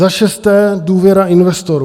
Za šesté - důvěra investorů.